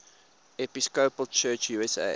episcopal church usa